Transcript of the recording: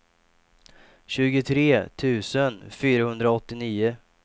tjugotre tusen fyrahundraåttionio